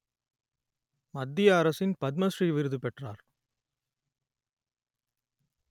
மத்திய அரசின் பத்ம ஸ்ரீ விருது பெற்றார்